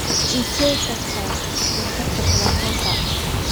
ma ii shegi kartaa nambarka telefonkeyga